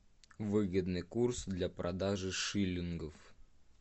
выгодный курс для продажи шиллингов